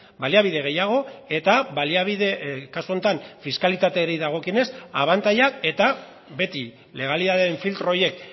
baliabide gehiago eta baliabide kasu honetan fiskalitateari dagokionez abantailak eta beti legalitateen filtro horiek